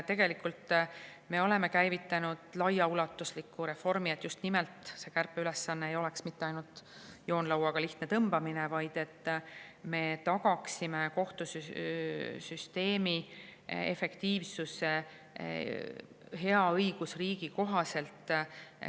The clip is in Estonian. Tegelikult me oleme käivitanud laiaulatusliku reformi, et see kärpeülesanne just nimelt ei oleks ainult joonlauaga lihtne tõmbamine, vaid et me tagaksime kohtusüsteemi efektiivsuse hea õigusriigi kohaselt.